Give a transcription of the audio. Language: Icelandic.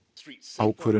ákvörðun